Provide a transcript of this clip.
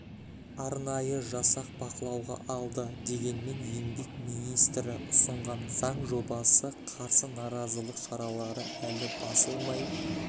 арнайы жасақ бақылауға алды дегенмен еңбек министрі ұсынған заң жобасына қарсы наразылық шаралары әлі басылмай